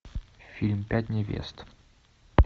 фильм пять невест